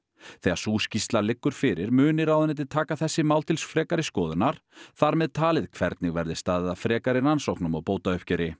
þegar sú skýrsla liggur fyrir muni ráðuneytið taka þessi mál til frekari skoðunar þar með talið hvernig verði staðið að frekari rannsóknum og